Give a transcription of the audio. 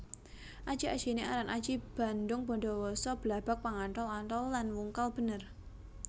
Aji ajiné aran aji bandhungbadawasa Blabag Pangantol antol lan Wungkal bener